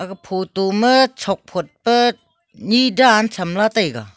photo ma chok phot pe ni dan tham taiga.